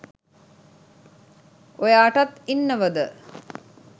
ඔයාටත් ඉන්නවද